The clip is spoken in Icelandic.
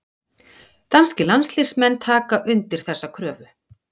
Danskir landsliðsmenn taka undir þessa kröfu.